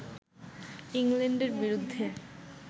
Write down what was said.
ইংল্যান্ডের বিরুদ্ধে